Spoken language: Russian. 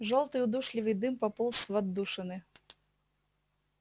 жёлтый удушливый дым пополз в отдушины